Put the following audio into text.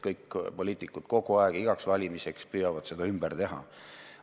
Kõik poliitikud püüavad igaks valimiseks valmistudes seda ümber teha.